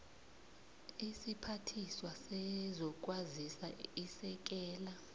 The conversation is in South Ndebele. isiphathiswa sezokwazisa isekela